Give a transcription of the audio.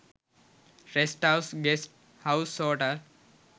rest house guest house hotel